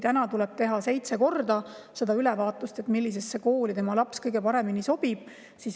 Täna tuleb teha seitse korda ülevaatust,, millisesse kooli laps kõige paremini sobib.